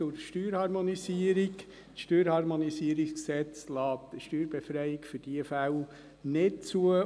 Das Bundesgesetz über die Harmonisierung der direkten Steuern der Kantone und Gemeinden (StHG) lässt eine Steuerbefreiung für diese Fälle nicht zu.